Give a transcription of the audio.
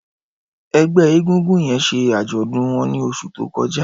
Ẹgbẹ ègúngún yèn ṣé ájọ̀dún wọn ni óṣù tókọ̀já